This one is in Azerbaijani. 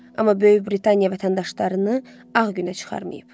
Amma Böyük Britaniya vətəndaşlarını ağ günə çıxarmayıb.